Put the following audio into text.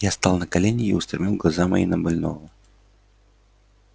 я стал на колени и устремил глаза мои на больного